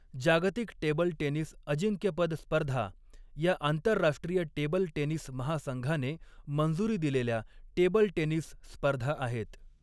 जागतिक table tennis अजिंक्यपद स्पर्धा ह्या आंतरराष्ट्रीय टेबल टेनिस महासंघाने मंजुरी दिलेल्या टेबल टेनिस स्पर्धा आहेत.